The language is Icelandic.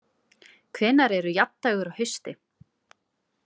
Hvernær eru jafndægur á hausti?